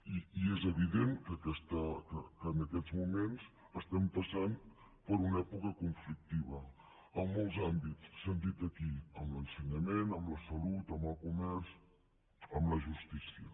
i és evident que en aquests moments passem per una època conflictiva en molts àmbits s’han dit aquí en l’ensenyament en la salut en el comerç en la justícia